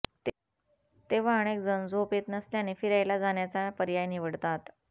तेव्हा अनेक जण झोप येत नसल्याने फिरायला जाण्याचा पर्याय निवडतात